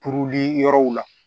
Kuruli yɔrɔw la